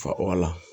Fa o la